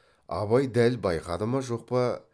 абай дәл байқады ма жоқ па